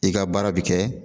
I ka baara bi kɛ